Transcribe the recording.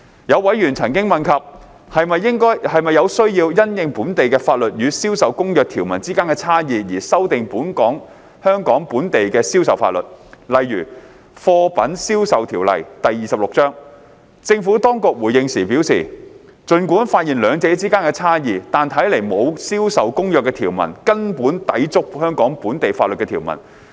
有委員曾問及是否有需要因應本地法律與《銷售公約》條文之間的差異而修訂香港本地的銷售法律，例如《貨品售賣條例》，政府當局回應時表示，儘管發現兩者之間的差異，但看來沒有《銷售公約》條文根本抵觸香港本地法律的條文。